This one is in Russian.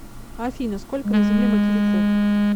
афина сколько на земле материков